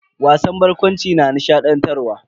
Wasan barkwanci na nishadantarwa.